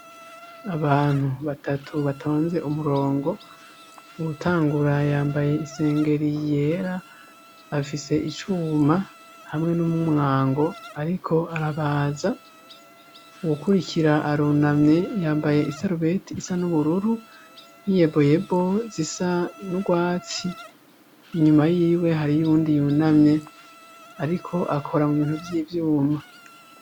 Abantu batatu batonze umurongo uwutangura yambaye isengeri yera afise icuma hamwe n'umumwango, ariko arabaza uwukurikira aruname yambaye isarubeti isa n'ubururu niyeboyebo zisa nrwa matsi inyuma yiwe hari yuwundi yunamye, ariko akora mu bintu vy'ivyuma.